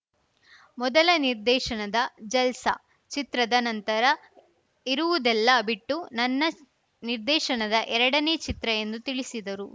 ಮೊದಲ ನಿರ್ದೇಶನದ ಜಲ್ಸ್‌ ಚಿತ್ರದ ನಂತರ ಇರುವುದೆಲ್ಲವ ಬಿಟ್ಟು ನನ್ನ ನಿರ್ದೇಶನದ ಎರಡನೇ ಚಿತ್ರ ಎಂದು ತಿಳಿಸಿದರು